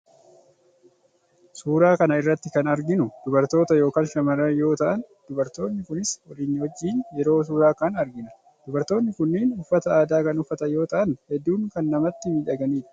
Suuraa kana irratti kan arginu dubartoota yookaan shamarran yoo ta’an, dubartoonni kunis walii wajjin yeroo suuraa ka'an argina. Dubartoonni kunniin uffata aadaa kan uffatan yoo ta’an, hedduu kan namatti miidhaganidha.